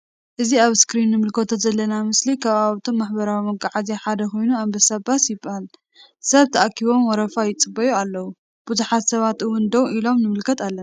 እዚ አብ እስክሪን እንምልከቶ ዘለና ምስሊ ካብብቶም ማሕበራዊ መጉዓዝያ ሓደ ኮይኑ አንበሳ ባስ ይበሃላ::ሰብ ተአኪቦም ወረፋ ይፅበዩ አለዉ::ቡዙሓት ሰባት አውን ደው ኢሎም ንምልከት አለና::